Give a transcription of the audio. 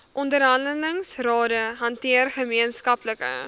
onderhandelingsrade hanteer gemeenskaplike